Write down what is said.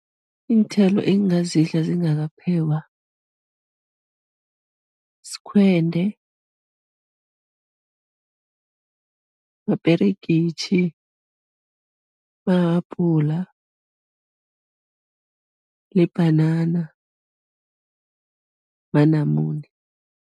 Iinthelo engingazidla zingakaphekwa, sikhwende, maperegitjhi, mahabhula, libhanana, manamune.